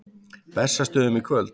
Bessastöðum í kvöld!